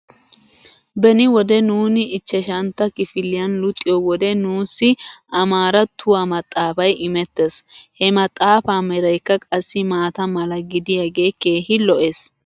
Beni wode nuuni ichchashantta kifiliyan luxiyoo wode nuussi amaarattuwaa maxaafay immettes. He maxxaafaa meraykka qassi maata mala gidiyaagee keehi lo'es.